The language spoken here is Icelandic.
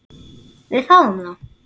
Við fáum þá